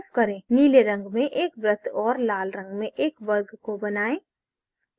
नीले रंग में एक वृत्त और लाल रंग में एक वर्ग को बनाएँ